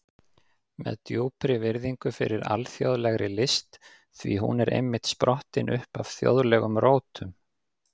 Með djúpri virðingu fyrir alþjóðlegri list, því hún er einmitt sprottin upp af þjóðlegum rótum.